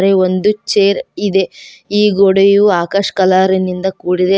ಗೆ ಒಂದು ಚೇರ್ ಇದೆ ಈ ಗೋಡೆಯು ಆಕಾಶ ಕಲರಿನಿಂದ ಕೂಡಿದೆ.